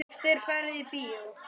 Oft er farið í bíó.